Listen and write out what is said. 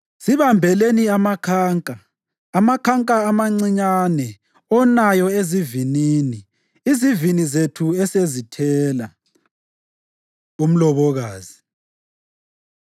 Sibambeleni amakhanka, amakhanka amancinyane onayo ezivinini, izivini zethu esezithela. Umlobokazi